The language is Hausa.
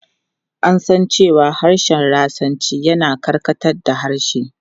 An san cewa harshen Rashanci yana karkatar da harshe.